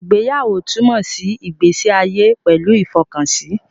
Ìgbéyàwó túmọ̀ sí ìgbésí ayé pẹ̀lú ìfọkànsí